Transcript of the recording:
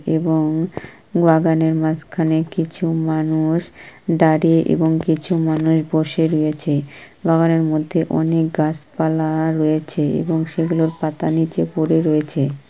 এবং বাগানের মাঝখানে কিছু মানুষ দাড়িয়ে এবং কিছু মানুষ বসে রয়েছে বাগানের মধ্যে অনেক গাছপালা রয়েছে এবং সেগুলোর পাতা নিচে পড়ে রয়েছে।